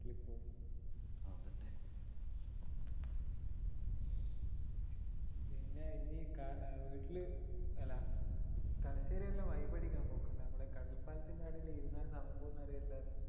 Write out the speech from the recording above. പിന്നെ ഇനി വീട്ടില് അല്ലാ തലശ്ശേരിയെല്ലാം vibe അടിക്കാൻ പോക്കുണ്ടോ നമ്മുടെ കടൽപ്പാലത്തിൻറെ അവിടെയെല്ലാം ഇരുന്നാസമയം പോവുന്നതറിയില്ലല്ലോ